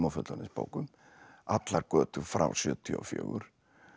fullorðins bókum allar götur frá sjötíu og fjögur